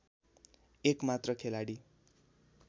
एक मात्र खेलाडी